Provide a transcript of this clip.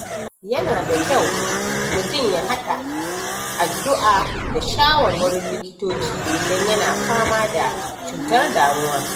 Yana da kyau mutum ya haɗa addu’a da shawarwarin likitoci idan yana fama da cutar damuwa.